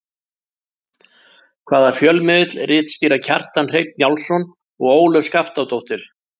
Hvaða fjölmiðli ritstýra Kjartan Hreinn Njálsson og Ólöf Skaftadóttir?